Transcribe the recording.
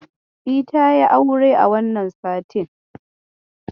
Yes, she got married this week.